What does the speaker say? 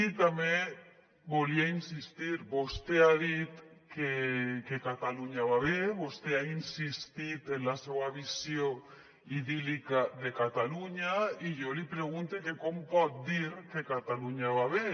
i també hi volia insistir vostè ha dit que catalunya va bé vostè ha insistit en la seua visió idíl·lica de catalunya i jo li pregunte que com pot dir que catalunya va bé